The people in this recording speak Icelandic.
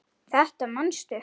Þetta manstu.